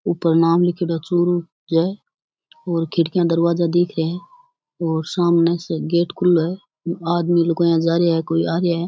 ऊपर नाम लिखेडा है चूरू जे और खिड़किया दरवाजा दिख रा है और सामने से गेट खुल्लो है आदमी लूगाइया जा रये कोई आ रया है।